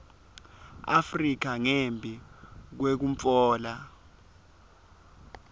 afrika ngembi kwekutfola